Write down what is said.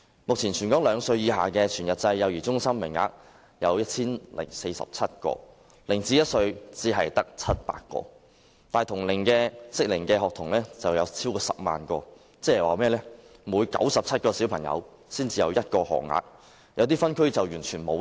目前，全港兩歲以下的全日制幼兒中心名額有 1,047 個 ，0 歲至1歲只有700個，但同齡幼童卻超過10萬名，即每97名兒童才有1個學額，有些分區更是完全沒有。